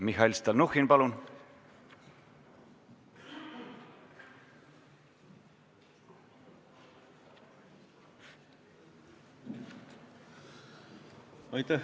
Mihhail Stalnuhhin, palun!